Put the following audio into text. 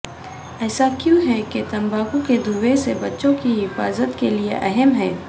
ایسا کیوں ہے کہ تمباکو کے دھوئیں سے بچوں کی حفاظت کے لئے اہم ہے